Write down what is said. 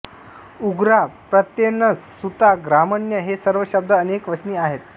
उग्राः प्रत्येनसः सूताः ग्रामण्यः हे सर्व शब्द अनेक वचनी आहेत